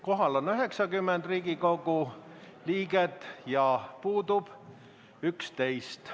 Kohal on 90 Riigikogu liiget ja puudub 11.